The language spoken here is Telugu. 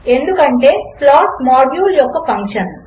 ఎందుకంటే ప్లాట్ మాడ్యూల్ యొక్క ఫంక్షన్